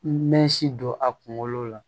N mɛ si don a kunkolo la